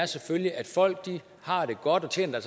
selvfølgelig er at folk har det godt og tjener